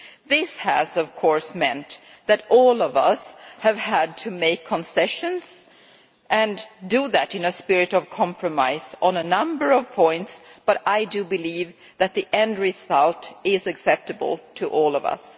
This has, of course, meant that all of us have had to make concessions and do so in a spirit of compromise on a number of points, but I believe that the end result is acceptable to all of us.